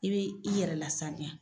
I be i yɛrɛ lasaniya.